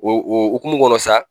o o hukumu kɔnɔ sa